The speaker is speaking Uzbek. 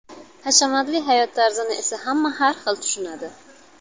Hashamatli hayot tarzini esa hamma har xil tushunadi.